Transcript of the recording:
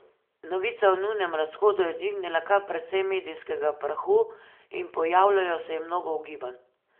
Novica o njunem razhodu je dvignila kar precej medijskega prahu in pojavljalo se je mnogo ugibanj.